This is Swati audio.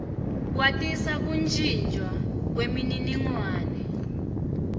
kwatisa kuntjintjwa kwemininingwane